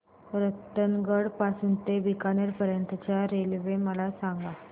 रतनगड पासून ते बीकानेर पर्यंत च्या रेल्वे मला सांगा